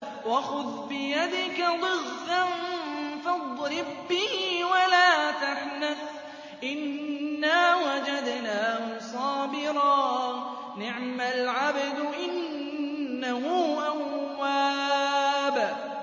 وَخُذْ بِيَدِكَ ضِغْثًا فَاضْرِب بِّهِ وَلَا تَحْنَثْ ۗ إِنَّا وَجَدْنَاهُ صَابِرًا ۚ نِّعْمَ الْعَبْدُ ۖ إِنَّهُ أَوَّابٌ